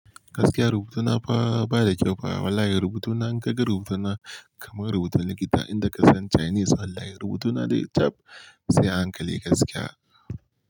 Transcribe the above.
Gaskiya rubutuna ba da kyau ba. Wallahi rubutuna in ka ga rubutuna kamar rubutun likita in ka san Chinese. Wallahi rubutuna dai cap sai a hankali gaskiya.